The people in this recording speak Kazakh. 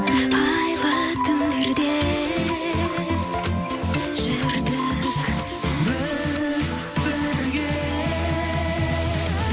айлы түндерде жүрдік біз бірге